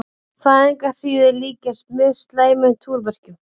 Fæðingarhríðir líkjast mjög slæmum túrverkjum.